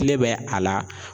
Ne bɛ a la.